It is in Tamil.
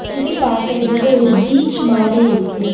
இது பாக்குறதுக்கு ஒரு பீச் மாரி இருக்கு.